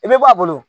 I bɛ bɔ a bolo